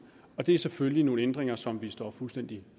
og det er selvfølgelig nogle ændringer som vi står fuldstændig